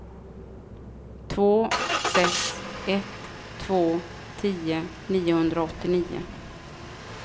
två sex ett två tio niohundraåttionio